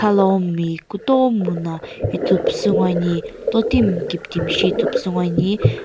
khalaomi kutomo na ithupusu ngoani totimi kiptimi shi ithupusu ngoani--